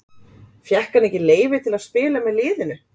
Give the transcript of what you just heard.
Fékk hann leyfi til að spila með liðinu.